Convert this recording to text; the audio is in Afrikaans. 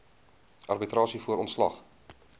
arbitrasie voor ontslag